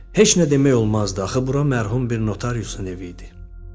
Heç nə demək olmazdı, axı bura mərhum bir notariusun evi idi.